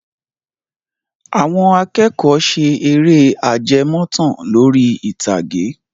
Àwọn akẹ́kọ̀ọ́ ṣe eré ajẹmọ́tàn lórí ìtàgé.